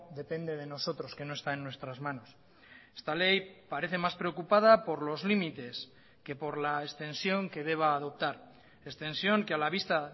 depende de nosotros que no está en nuestras manos esta ley parece más preocupada por los límites que por la extensión que deba adoptar extensión que a la vista